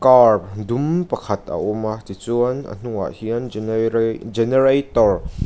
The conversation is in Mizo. car dum pakhat a awm a tichuan a hnungah hian genera generator --